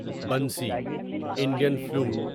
بنسی Indian flute বাঁশি